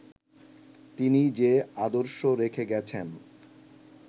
তিনি যে আদর্শ রেখে গেছেন